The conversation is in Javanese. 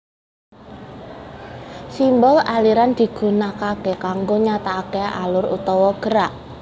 Simbol aliran digunakaké kanggo nyatakaké alur utawa gerak